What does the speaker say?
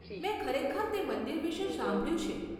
મેં ખરેખર તે મંદિર વિશે સાંભળ્યું છે.